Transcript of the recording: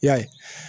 I y'a ye